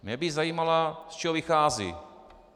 Mě by zajímalo, z čeho vychází.